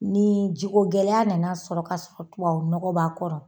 Ni ji ko gɛlɛya nana sɔrɔ ka sɔrɔ tubabu nɔgɔ b'a kɔrɔ